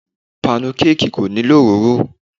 Panukeeki kò nílò òróró.